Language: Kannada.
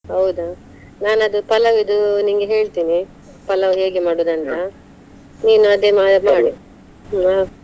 ಹೌದಾ! ನಾನ್ ಅದು palav ದು ನಿನ್ಗೆ ಹೇಳ್ತೇನೆ, palav ಹೇಗೆ ನೀನು ಅದೇ ಮಾಡು ಹಾ.